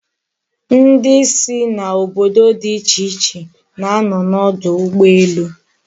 Ndi si n'obodo di iche iche na-ano n'odu ugboelu